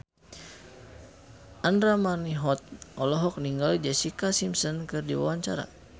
Andra Manihot olohok ningali Jessica Simpson keur diwawancara